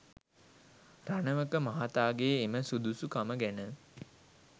රණවක මහතාගේ එම සුදුසුකම ගැන